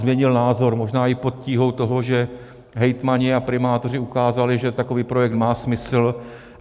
Změnil názor možná i pod tíhou toho, že hejtmani a primátoři ukázali, že takový projekt má smysl.